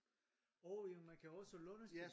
Åh ja man kan også låne spil